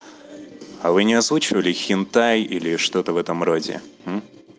а вы не озвучивали хентай или что-то в этом роде